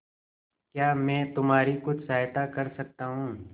क्या मैं तुम्हारी कुछ सहायता कर सकता हूं